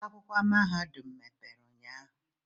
ọba akwụkwọ mahadum emepere ụnyahụ?